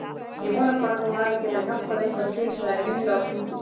Ég vona bara að þú hafir getað hjálpað eitthvað til sagði Milla og snýtti sér.